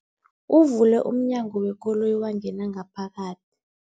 Uvule umnyango wekoloyi wangena ngaphakathi.